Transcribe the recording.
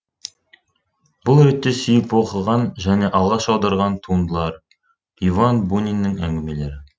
бұл ретте сүйіп оқыған және алғаш аударған туындылары иван буниннің әңгімелері